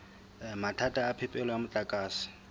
mathata a phepelo ya motlakase